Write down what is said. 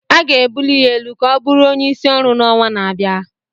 A ga-ebuli ya elu ka ọ bụrụ onyeisi ọrụ n'ọnwa na-abịa